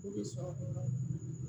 U bɛ sɔrɔ